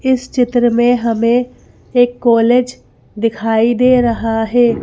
इस चित्र में हमे एक कॉलेज दिखाई दे रहा है।